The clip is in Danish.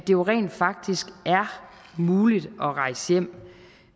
jo rent faktisk er muligt at rejse hjem